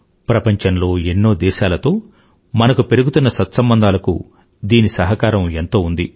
ప్రపంచంలో ఎన్నో దేశాలతో మనకు పెరుగుతున్న సత్సంబంధాలకు దీని సహకారం ఎంతో ఉంది